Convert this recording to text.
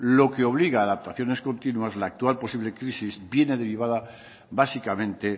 lo que obliga adaptaciones continuas la actual posible crisis viene derivada básicamente